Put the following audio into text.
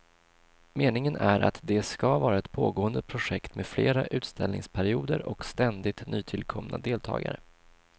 Meningen är att det ska vara ett pågående projekt med fler utställningsperioder och ständigt nytillkomna deltagare.